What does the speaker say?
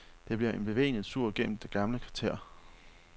Det bliver en bevægende tur gennem det gamle kvarter.